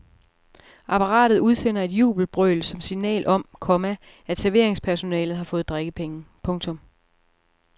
Apparatet udsender et jubelbrøl som signal om, komma at serveringspersonalet har fået drikkepenge. punktum